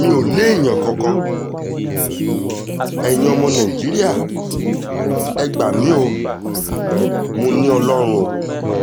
mi ò léèyàn kankan eyín ọmọ nàìjíríà ẹ gbà mí o mọ́ ni ọlọ́run ò